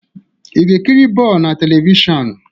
Ị ga-ekiri bọọlụ na telivishọn?